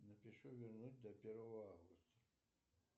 напишу вернуть до первого августа